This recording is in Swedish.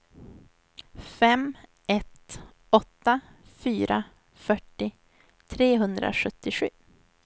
fem ett åtta fyra fyrtio trehundrasjuttiosju